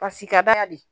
Pasi ka d'a ye de